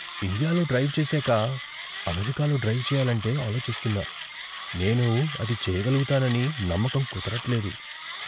ఇండియాలో డ్రైవ్ చేశాక అమెరికాలో డ్రైవ్ చెయ్యాలంటే ఆలోచిస్తున్నా. నేను అది చేయగలుగుతానని నమ్మకం కుదరట్లేదు.